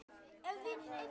Þannig var Elli.